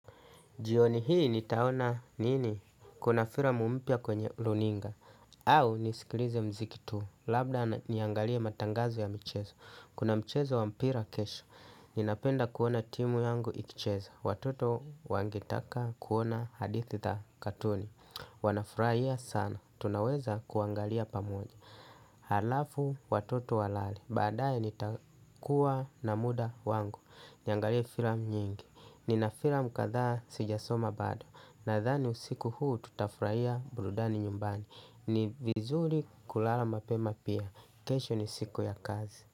Jioni hii nitaona nini, kuna filamu mpya kwenye runinga, au nisikilize mziki tu, labda niangalia matangazo ya mchezo, kuna mchezo wa mpira kesho, ninapenda kuona timu yangu ikicheza, watoto wangetaka kuona hadithi ta katuni, wanafuraia sana, tunaweza kuangalia pamoja. Halafu watoto walale. Baadaye nitakuwa na muda wangu. Niangalie filamu nyingi. Nina filamu katha sijasoma bado. Nadhani usiku huu tutafurahia burudani nyumbani. Ni vizuri kulala mapema pia. Kesho ni siku ya kazi.